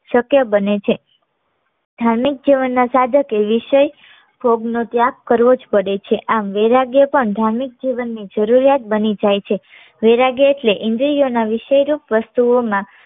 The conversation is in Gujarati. શક્ય બને છે ધાર્મિક જીવનના સાધક એ વિષય ભોગ નો ત્યાગ કરવો જ પડે છે. આ વૈરાગ્ય પણ ધાર્મિક જીવનની જરૂરિયાત બની જાય છે. વૈરાગ્ય એટલે ઈન્દ્રિયો ના વિષય રૂપ વસ્તુઓમાં